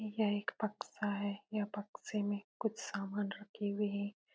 यह एक बक्सा है। ये बक्से में कुछ सामान रखे हुए हैं।